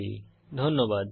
অংশগ্রহনের জন্য ধন্যবাদ